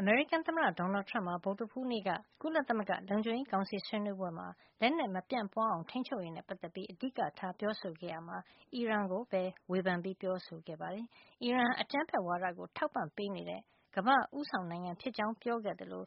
အမေရိကန်သမ္မတ Donald Trump ဟာ ဗုဒ္ဓဟူးနေ့က ကုလသမဂ္ဂ လုံခြုံရေးကောင်စီ ဆွေးနွေးပွဲမှာ လက်နက်မပြန့်ပွားအောင် ထိန်းချုပ်ရေးနဲ့ ပတ်သက်ပြီး အဓိကထား ပြောဆိုခဲ့ရာမှာ အီရန်ကိုပဲ ဝေဖန်ပြီး ပြောဆိုခဲ့ပါတယ်။ အီရန်ဟာ အကြမ်းဖက်ဝါဒကို ထောက်ပံ့ပေးနေတဲ့ ကမ္ဘာ့ ဦးဆောင်နိုင်ငံဖြစ်ကြောင်း ပြောခဲ့သလို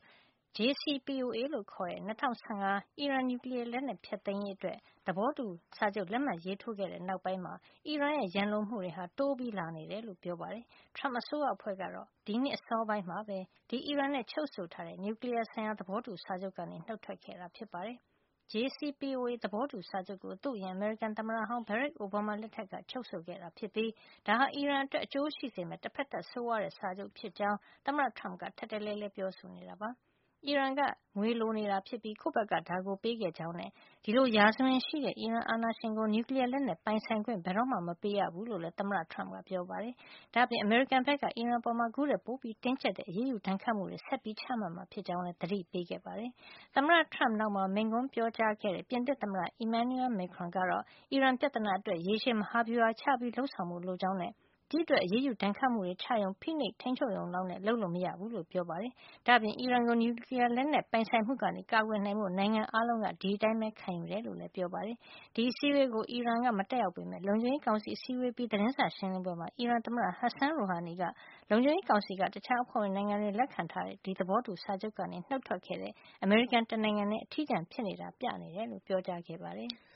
JCPOA လို့ခေါ်တဲ့ ၂၀၁၅ အီရန် နျူကလီယားလက်နက် ဖျက်သိမ်းရေး သဘောတူစာချုပ် လက်မှတ်ရေးထိုးခဲ့တဲ့နောက်ပိုင်းမှာ အီရန်ရဲ့ ရန်လိုမှုတွေဟာ တိုးပြီး လာနေတယ်လို့ ပြောပါတယ်။ Trump အစိုးရအဖွဲ့ကတော့ ဒီနှစ်အစောပိုင်းမှာပဲ ဒီ အီရန်နဲ့ ချုပ်ဆိုတဲ့ နျူကလီယားဆိုင်ရာ သဘောတူစာချုပ်ကနေ နှုတ်ထွက်ခဲ့တာ ဖြစ်ပါတယ်။ JCPOA သဘောတူစာချုပ်ကိုသူ့အရင် အမေရိကန်သမ္မတဟောင်း Barack Obama လက်ထက်က ချုပ်ဆိုခဲ့တာဖြစ်ပြီး ဒါဟာ အီရန်အတွက် အကျိုးရှိစေမယ့် တဖက်သတ် ဆိုးဝါးတဲ့ စာချုပ်ဖြစ်ကြောင်း သမ္မတ Trump က ထပ်တလဲလဲ ပြောဆိုနေတာ ဖြစ်ပါတယ်။ အီရန်က ငွေလိုနေတာဖြစ်ပြီး ကိုယ့်ဘက်က ဒါကို ပေးခဲ့ကြောင်းနဲ့ ဒီလိုရာဇဝင်ရှိတဲ့ အီရန်အာဏာရှင်ကို နျူကလီယားလက်နက် ပိုင်ဆိုင်ခွင့် ဘယ်တော့မှ မပေးရဘူး လို့လည်း သမ္မတ Trump ကပြောပါတယ်။ ဒါ့အပြင် အမေရိကန်ဘက်က အီရန်အပေါ် အခုထက် ပိုတင်းကျပ်တဲ့ အရေးယူ ဒဏ်ခတ်မှုတွေ ဆက်ပြီး ချမှတ်မှာ ဖြစ်ကြောင်းလည်း သတိပေးခဲ့ပါတယ်။ သမ္မတ Trump နောက်မှာ မိန့်ခွန်းပြောတဲ့ ပြင်သစ်သမ္မတ Emmanuel Macron ကတော့ အီရန်ပြဿနာအတွက် ရေရှည်မဟာဗျူဟာ ချပြီးလုပ်ဆောင်ဖို့ လိုအပ်ကြောင်းနဲ့ ဒီ့အတွက် အရေးယူဒဏ်ခတ်မှုတွေချရုံ၊ ဖိနှိပ်ထိန်းချုပ်ရုံ လောက်နဲ့ လုပ်လို့ မရဘူးလို့ ပြောပါတယ်။ ဒါ့အပြင် အီရန်ကို နျူကလီယားလက်နက် ပိုင်ဆိုင်မှုကနေ ကာကွယ်နိုင်ဖို့ နိုင်ငံအားလုံးက ဒီအတိုင်းပဲခံယူကြကြောင်းလည်း ပြောပါတယ်။ ဒီအစည်းအဝေးကို အီရန်က မတက်ရောက်ပေမယ့် လုံခြုံရေးကောင်စီ အစည်းအဝေးအပြီး သတင်းစာရှင်းလင်းပွဲမှာ အီရန်သမ္မတ Hassan Rouhani က လုံခြုံရေးကောင်စီက တခြားအဖွဲ့ဝင်နိုင်ငံတွေ လက်ခံထားတဲ့ ဒီသဘောတူစာချုပ်ကနေ နှုတ်ထွက်ခဲ့တဲ့ အမေရိကန် တနိုင်ငံထဲ အထီးကျန်ဖြစ်နေတာကို ပြနေတယ်လို့ ပြောကြားခဲ့ပါတယ်။